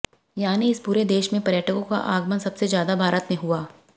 यानी इस पूरे क्षेत्र में पर्यटकों का आगमन सबसे ज्यादा भारत में हुआ